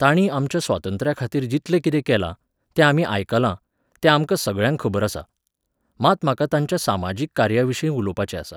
ताणी आमच्या स्वातंत्र्याखातीर जितलें कितें केलां, तें आमी आयकलां, तें आमकां सगळ्यांक खबर आसा. मात म्हाका तांच्या सामाजीक कार्याविशीं उलोवपाचें आसा.